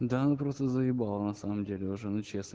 да она просто заебала на самом деле если честно